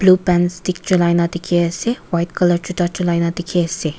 stick chulaina dekhi ase white colour juta chulaina dekhi ase.